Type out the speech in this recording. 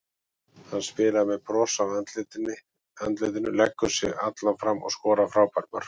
Hann spilar með bros á andlitinu, leggur sig allan fram og skorar frábær mörk.